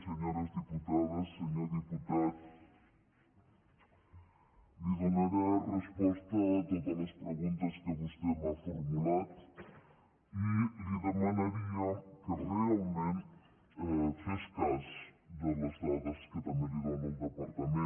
senyores diputades senyor diputat li donaré resposta a totes les preguntes que vostè m’ha formulat i li demanaria que realment fes cas de les dades que també li dóna el departament